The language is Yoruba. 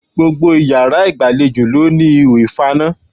Gbogbo iyàrá ìgbàlejò ló ní ihò ìfaná